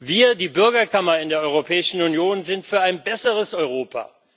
Wir, die Bürgerkammer in der Europäischen Union, sind für ein besseres Europa.